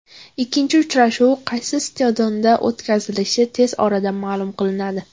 Ikkinchi uchrashuv qaysi stadionda o‘tkazilishi tez orada ma’lum qilinadi.